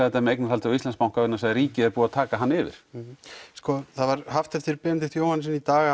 þetta með eignarhaldi á Íslandsbanka vegna þess að ríkið er búið að taka hann yfir það var haft eftir Benedikt Jóhannessyni í dag